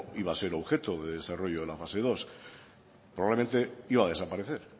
iba a ser objeto de desarrollo en la fase dos probablemente iba a desaparecer